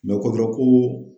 Mɛ ko